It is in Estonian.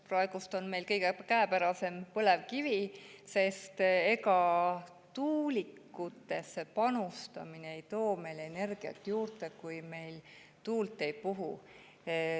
Praegu on meile kõige käepärasem põlevkivi, sest ega tuulikutesse panustamine ei too meile energiat juurde, kui tuul ei puhu.